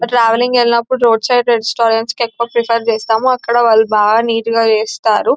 Travelling ఎళ్ళినపుడు road side restaurant కి ఎక్కువ ప్రిఫర్ చేస్తాము అక్కడ వాళ్ళు బాగా నీట్ గ చేస్తారు .